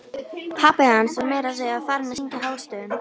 Pabbi hans var meira að segja farinn að syngja hástöfum!